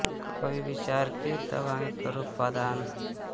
कह कवि विचार के तब आगे करौ पदान